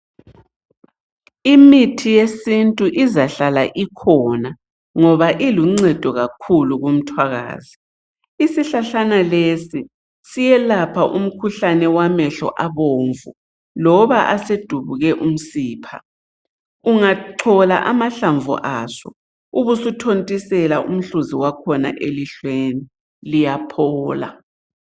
Imithi yesintu izahlala ikhona, ngoba iluncedo kakhulu kumthwakazi. Isihlahlana lesi, siyelapha umkhuhlane wamehlo abomvu, loba asedubuke umsipha. Ungachola amahlamvu aso, ubusuthontisela umhluzi wakhona elihlweni, liyaphola.